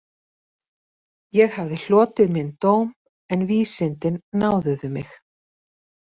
Ég hafði hlotið minn dóm en vísindin náðuðu mig